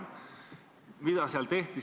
Mida selles resolutsioonis öeldi?